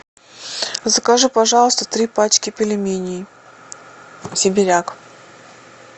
закажи пожалуйста три пачки пельменей сибиряк